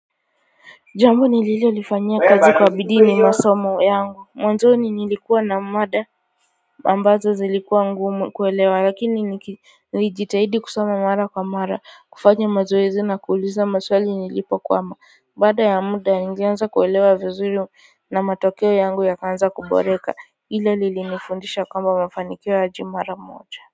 Jambo nililofanyiankazi kwa bidii ni masomo yangu, mwanzoni nilikuwa na mada ambazo zilikuwa ngumu kuelewa lakini nilijitahidi kusoma mara kwa mara kufanya mazoezi na kuuliza maswali nilipokwama, baada ya muda nilianza kuelewa vizuri na matokeo yangu yakaanza kuboreka. Hilo lilinifundisha kwamba mafanikio hayaji mara moja.